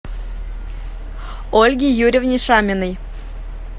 ольге юрьевне шаминой